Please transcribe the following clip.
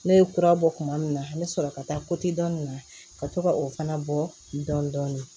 Ne ye kura bɔ kuma min na n bɛ sɔrɔ ka taa dɔɔnin na ka to ka o fana bɔ dɔndɔni